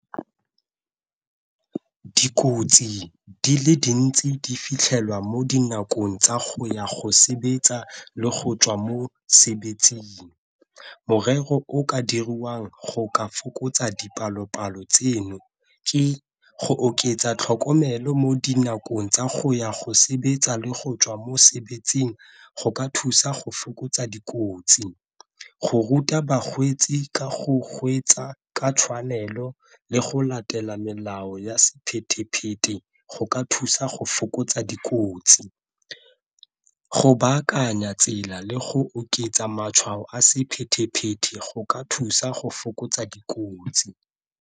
Dikotsi di le dintsi di fitlhelwa mo dinakong tsa go ya go sebetsa le go tswa mosebetsing. Morero o ka dirwang go ka fokotsa dipalopalo tseno ke go oketsa tlhokomelo mo dinakong tsa go ya go sebetsa le go tswa mosebetsing go ka thusa go fokotsa dikotsi. Go ruta bakgwetsi ka go go kgweetsa ka tshwanelo le go latela melao ya di go ka thusa go fokotsa dikotsi, go baakanya tsela le go oketsa matshwao a go ka thusa go fokotsa dikotsi.